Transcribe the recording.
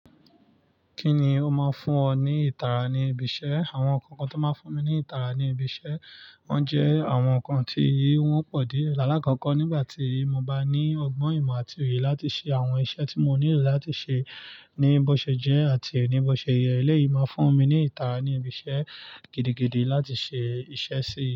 Kí ni ó máa ń fún ọ ní ìtara ní ibi iṣẹ́? Àwọn nǹkan kan tó máa ń fún mi ní ìtara ní ibi iṣẹ́, wọ́n jẹ́ àwọn nǹkan tí wọn pọ̀ dié. Ìalá àkọ́kọ́, nígbà tí mo bá ní ọgbọ́n ìmọ̀ àti ìwé láti ṣe àwọn iṣẹ́ tí mo nílò láti ṣe ní bóṣe jẹ́ àti nìbọ̀ṣe yẹ, eléyìí máa fún mi ní ìtara ní ibi iṣẹ́ gidigidi láti ṣe iṣẹ́ sí i.